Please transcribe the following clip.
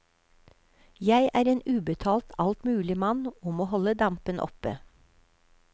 Jeg er en ubetalt altmuligmann, og må holde dampen oppe.